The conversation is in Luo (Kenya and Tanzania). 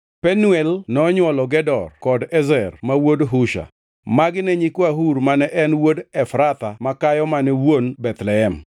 Penuel nonywolo Gedor kod Ezer ma wuon Husha. Magi ne nyikwa Hur, mane en wuod Efratha makayo mane wuon Bethlehem.